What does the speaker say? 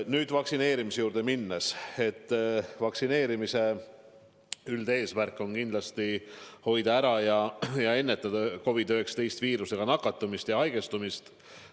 Nüüd, kui vaktsineerimise juurde minna, siis vaktsineerimise üldeesmärk on kindlasti hoida ära COVID-19 viirusega nakatumist ja haigestumist.